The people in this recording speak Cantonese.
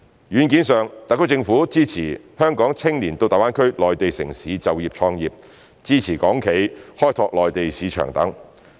軟件上，特區政府支持香港青年到大灣區內地城市就業創業、支持港企開拓內地市場等。